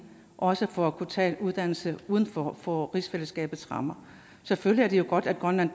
også for at kunne tage en uddannelse uden for for rigsfællesskabets rammer selvfølgelig er det jo godt at grønland